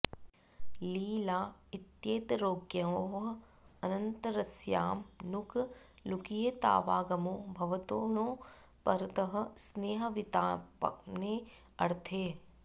ली ला इत्येतयोरङ्गयोः अन्यतरस्यां नुक् लुकियेतावागमौ भवतो णौ परतः स्नेहविपातने ऽर्थे